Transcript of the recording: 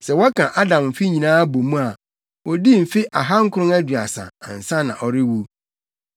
Sɛ wɔka Adam mfe nyinaa bɔ mu a, odii mfe ahankron aduasa, ansa na ɔrewu.